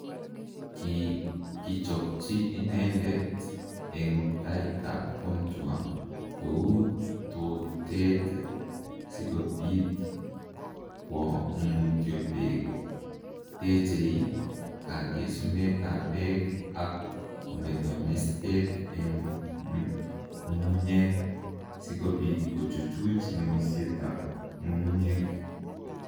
Ki kichopchi ineendet eng' taitap contour ko uu tooteet si kobiit kwo mutyo peek, teechei kagesunetap peek, ak kometo mesteet eng' ng'ung'unyek, si kobiit kochuchuch ng'emisyetap ng'ung'unyek